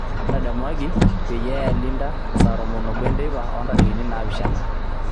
ntadamuaki peyie aya Linda saa tomon obo enteipa oo ntarikini naapishana